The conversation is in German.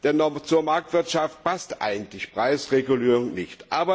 Denn zur Marktwirtschaft passt eigentlich Preisregulierung nicht.